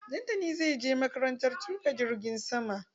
Dantani zai je makarantar tuƙa jirgin sama.